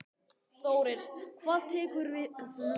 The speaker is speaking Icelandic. Þórir: Hvað tekur við núna?